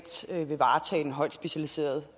centre